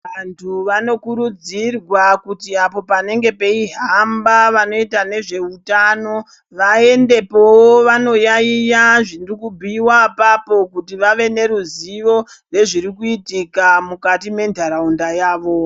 Vantu vanokurudzirwa kuti apo panenge peihamba vanoita nezveutano, vaendepowo vanoyaiya zviri kubhuiwa apapo, kuti vave neruzivo nezvirikuitika mukati mentaraunda yavo.